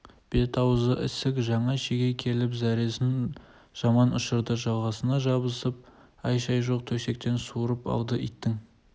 бет-ауызы ісік жаңа шеге келіп зәресін жаман ұшырды жағасына жабысып әй-шәй жоқ төсектен суырып алды иттің